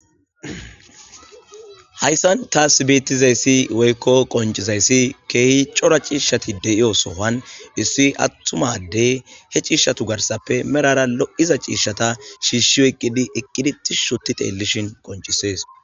Hayssan taas bettizayssi woykko qoncizayssi keehi cora ciishshati deyiyo sohan issi attumade he ciishshatu garsappe merara lo'iza ciishshata shiishshio eqqidi eqqidi ti shoti teellishin qoncisees.